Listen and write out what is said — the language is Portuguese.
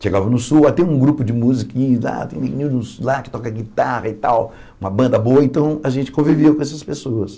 Chegava no sul, lá tem um grupo de músicos lá, tem meninos lá que tocam guitarra e tal, uma banda boa, então a gente conviveu com essas pessoas.